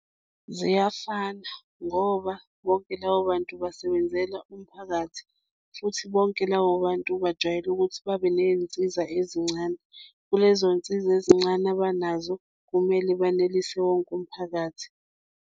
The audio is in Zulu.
Ziyafana ngoba bonke labo bantu basebenzela umphakathi futhi bonke labo bantu bajwayele ukuthi babe ney'nsiza ezincane kulezoy'nsiza ezincane abanazo kumele banelise wonke umphakathi.